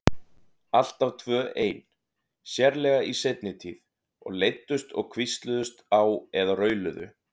Alltaf tvö ein, sérlega í seinni tíð, og leiddust og hvísluðust á eða rauluðu.